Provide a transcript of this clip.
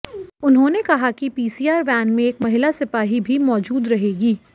उन्होंने कहा कि पीसीआर वैन में एक महिला सिपाही भी मौजूद रहेगी